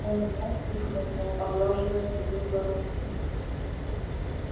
он умолк и хмыкнул поглаживая седую бородку